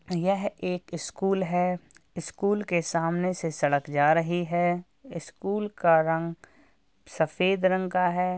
यह एक स्कूल है। स्कूल के सामने से सड़क जा रही है। स्कूल का रंग सफेद रंग का है।